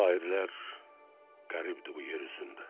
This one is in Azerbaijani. Şairlər qəribdir bu yer üzündə.